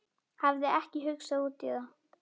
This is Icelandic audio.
Hafði ekki hugsað út í það.